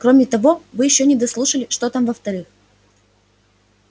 кроме того вы ещё не дослушали что там во-вторых